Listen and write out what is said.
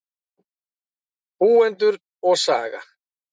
Búendur og saga.